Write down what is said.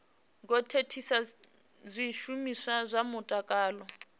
ngo thithisa zwishumiswa zwa mutakalo